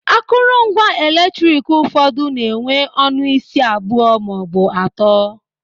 Akụrụngwa eletrik ụfọdụ na enwe ọnụ isi abụọ maọbụ atọ